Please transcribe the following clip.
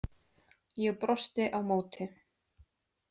Ég brosti á móti.